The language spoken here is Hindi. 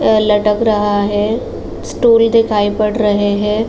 अ लटक रहा है। स्टूल दिखाई पड़ रहे हैं।